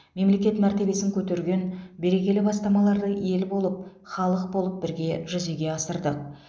мемлекет мәртебесін көтерген берекелі бастамаларды ел болып халық болып бірге жүзеге асырдық